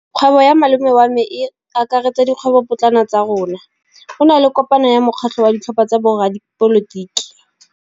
Kgwêbô ya malome wa me e akaretsa dikgwêbôpotlana tsa rona. Go na le kopanô ya mokgatlhô wa ditlhopha tsa boradipolotiki.